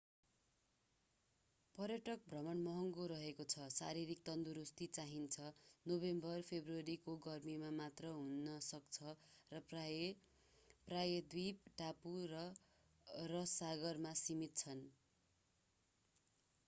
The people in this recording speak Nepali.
पर्यटक भ्रमण महँगो रहेको छ शारीरिक तन्दुरुस्ती चाहिन्छ नोभेम्बर-फेब्रुअरीको गर्मीमा मात्र हुन सक्छ र प्रायः प्रायद्वीप टापु र रस सागरमा सीमित छन्